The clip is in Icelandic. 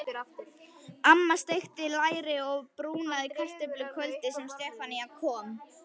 Amma steikti læri og brúnaði kartöflur kvöldið sem Stefán kom.